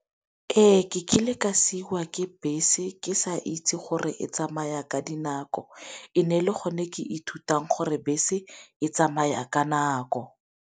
Ee ke kile ka siwa ke bese ke sa itse gore e tsamaya ka dinako e ne e le gone ke ithutang gore bese e tsamaya ka nako.